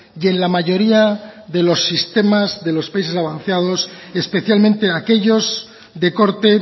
y en la mayoría de los sistemas de los países avanzados especialmente aquellos de corte